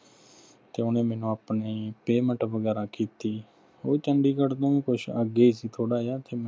ਤੇ ਓਹਨੇ ਮੈਨੂੰ ਆਪਣੀ payment ਵਗੈਰਾ ਕੀਤੀ ਉਹ ਚੰਡੀਗੜ੍ਹ ਤੋਂ ਕੁਛ ਅੱਗੇ ਸੀ ਥੋੜ੍ਹਾ ਜਾ